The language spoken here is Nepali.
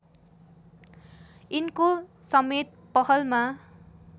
यिनको समेत पहलमा